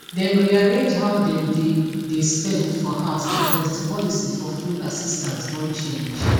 dem rearrange how dem dey dey spend for house bcoz di policy for food assistance don change